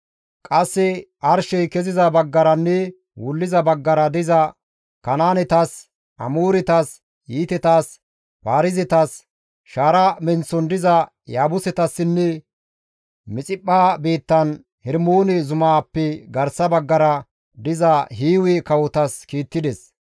Qasse arshey keziza baggaranne wulliza baggara diza Kanaanetas, Amooretas, Hiitetas, Paarizetas, shaara menththon diza Yaabusetassinne Mixiphpha biittan Hermoone zumaappe garsa baggara diza Hiiwe kawotas kiittides.